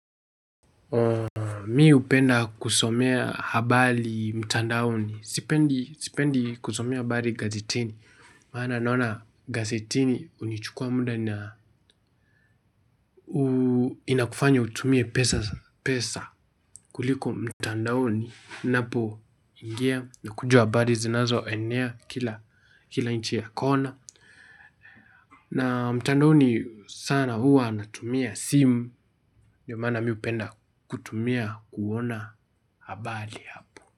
Mi upenda kusomea habali mtandaoni. Sipendi kusomea habari gazetini. Maana naona gazetini unichukua muda na inakufanya utumie pesa kuliko mtandaoni, ninapo ingia na kuja habali zinazo enea kila, inchi ya kona na, mtandoni sana huwa natumia sim. Yomaana mi hupenda kutumia, ku uona habali hapo.